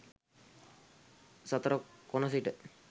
සතර කොණ සිට